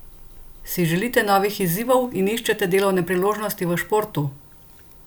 Si želite novih izzivov in iščete delovne priložnosti v športu?